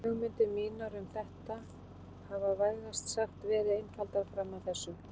Hugmyndir mínar um þetta hafa vægast sagt verið einfaldar fram að þessu.